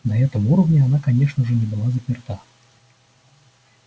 на этом уровне она конечно же не была заперта